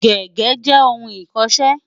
Gègé jẹ́ ohun ìkọṣẹ́.